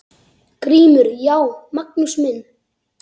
GRÍMUR: Já, Magnús minn!